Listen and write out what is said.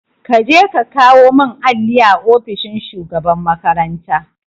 Kaje ka kawo mun alli a ofishin shugaban makaranta